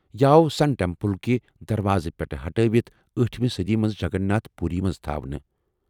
یہ آو سن ٹیمپل كہِ دروازٕ پیٹھہٕ ہٹٲوِتھ ٲٹھمہ صٔدی منٛز جگن ناتھ پوُری منٛز تھاونہٕ ۔